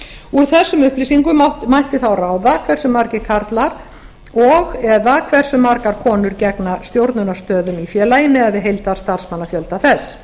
úr þessum upplýsingum mætti þá ráða hversu margir karlar og eða hversu margar konur gegna stjórnunarstöðum í félagi miðað við heildarstarfsmannafjölda þess